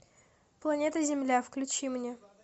планета земля включи мне